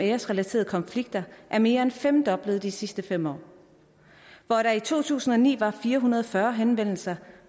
æresrelaterede konflikter er mere end femdoblet de sidste fem år hvor der i to tusind og ni var fire hundrede og fyrre henvendelser